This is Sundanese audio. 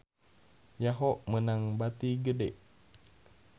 Yahoo! meunang bati gede